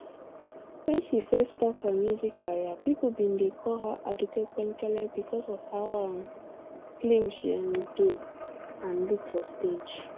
wen she first start her music career pipo bin dey call her aduke penkele sake of how um slim she um dey and look for stage